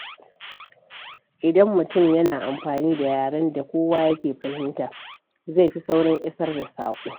Idan mutum yana amfani da yaren da kowa yake fahimta, zai fi saurin isar da saƙo.